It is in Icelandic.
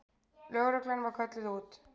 Lögreglan var kölluð út.